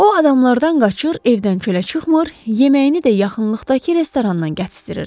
O adamlardan qaçır, evdən çölə çıxmır, yeməyini də yaxınlıqdakı restorandan gətizdirirdi.